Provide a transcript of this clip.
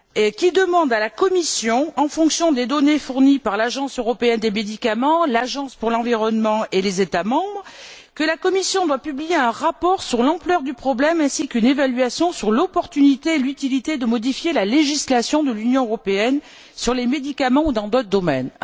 qui demande à la Commission, en fonction des données fournies par l'Agence européenne des médicaments, l'Agence pour l'environnement et les États membres, de publier un rapport sur l'ampleur du problème ainsi qu'une évaluation sur l'opportunité et l'utilité de modifier la législation de l'Union européenne sur les médicaments ou dans d'autres domaines.